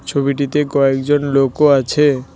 ছবিটিতে কয়েকজন লোকও আছে।